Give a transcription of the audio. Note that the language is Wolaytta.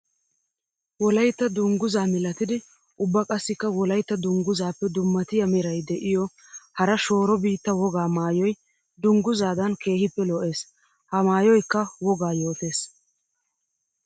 Wolaytta dungguza milatiddi ubba qassikka wolaytta dungguzappe dumma meray de'iyo hara shooro biitta wogaa maayoy dungguzadan keehippe lo'ees. Ha maayoykka wogaa yootes.